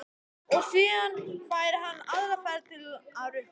Og síðan færi hann aðra ferð til að rukka.